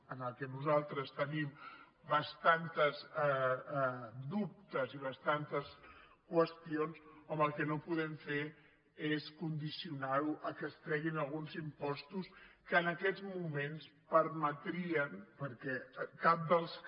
en què nosaltres tenim bastants dubtes i bastants qüestions home el que no podem fer és condicionar·ho al fet que es treguin alguns impos·tos que en aquests moments permetrien perquè cap dels que